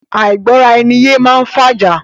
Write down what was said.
Àìgbọ́ra ẹni yé máá ń fàjà.